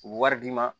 U bɛ wari d'i ma